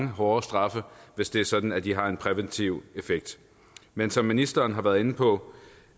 hårde straffe hvis det er sådan at de har en præventiv effekt men som ministeren har været inde på